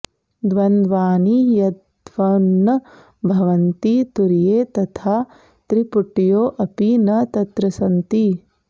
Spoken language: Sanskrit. द्वन्द्वानि यद्वन्न भवन्ति तुर्ये तथा त्रिपुट्योऽपि न तत्र सन्ति